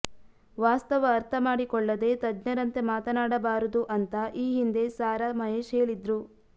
ವಾಸ್ತವ ಅರ್ಥ ಮಾಡಿಕೊಳ್ಳದೇ ತಜ್ಞರಂತೆ ಮಾತನಾಡಬಾರದು ಅಂತಾ ಈ ಹಿಂದೆ ಸಾರಾ ಮಹೇಶ್ ಹೇಳಿದ್ರು